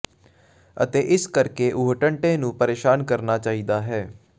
ਅਤੇ ਇਸੇ ਕਰਕੇ ਉਹ ਟੰਟੇ ਨੂੰ ਪਰੇਸ਼ਾਨ ਕਰਨਾ ਚਾਹੀਦਾ ਹੈ